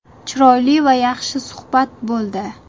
Chiroyli va yaxshi suhbat bo‘ldi.